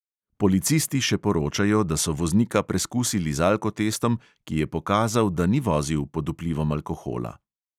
Policisti še poročajo, da so voznika preskusili z alkotestom, ki je pokazal, da ni vozil pod vplivom alkohola.